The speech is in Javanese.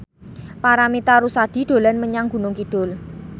Paramitha Rusady dolan menyang Gunung Kidul